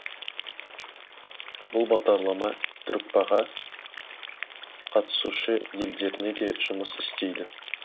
бұл бағдарлама түркпа ға қатысушы елдеріне де де жұмыс істейді